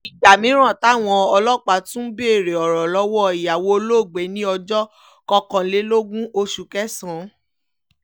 ìgbà mìíràn táwọn ọlọ́pàá tún béèrè ọ̀rọ̀ lọ́wọ́ ìyàwó olóògbé ní ọjọ́ kọkànlélógún oṣù kẹsàn-án